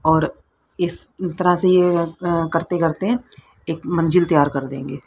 और इस मित्रा से करते करते एक मंजिल तैयार कर देंगे।